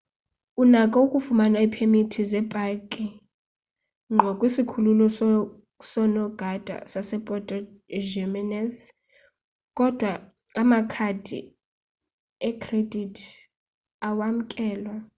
unako ukufumana iipemithi zepakhi ngqo kwisikhululo soonogada sasepuerto jiménez kodwa amakhadi ekhredithi awamkelwa